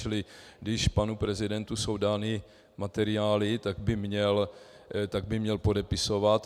Čili když panu prezidentu jsou dány materiály, tak by měl podepisovat.